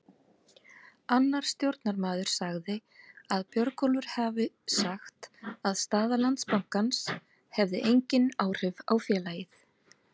Annar stjórnarmaður sagði að Björgólfur hafi sagt að staða Landsbankans hefði engin áhrif á félagið.